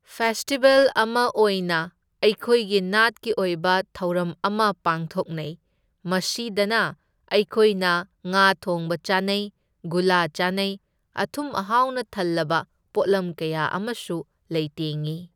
Festival ꯑꯃ ꯑꯣꯢꯅ ꯑꯩꯈꯣꯏꯒꯤ ꯅꯥꯠꯀꯤ ꯑꯣꯏꯕ ꯊꯧꯔꯝ ꯑꯃ ꯄꯥꯡꯊꯣꯛꯅꯩ, ꯃꯁꯤꯗꯅ ꯑꯩꯈꯣꯏꯅ ꯉꯥ ꯊꯣꯡꯕ ꯆꯥꯅꯩ, ꯒꯨꯂꯥ ꯆꯥꯅꯩ, ꯑꯊꯨꯝ ꯑꯍꯥꯎꯅ ꯊꯜꯂꯕ ꯄꯣꯠꯂꯝ ꯀꯌꯥ ꯑꯃꯁꯨ ꯂꯩꯇꯦꯡꯢ꯫